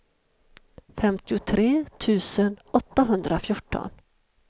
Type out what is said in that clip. femtiotre tusen åttahundrafjorton